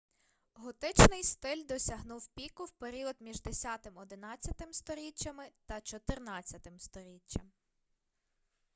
готичний стиль досягнув піку в період між 10-11-м сторіччями та 14-м сторіччям